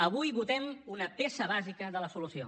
avui votem una peça bàsica de la solució